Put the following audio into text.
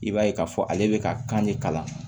I b'a ye k'a fɔ ale bɛ ka kan de kalan